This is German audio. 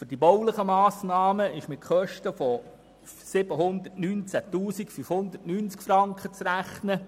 Für die baulichen Massnahmen ist mit Kosten von 719 590 Franken zu rechnen.